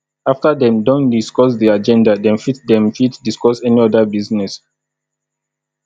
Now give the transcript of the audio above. after dem don discuss di agenda dem fit dem fit discuss any other business